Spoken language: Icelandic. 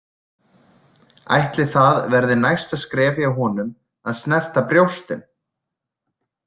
Ætli það verði næsta skref hjá honum að snerta brjóstin?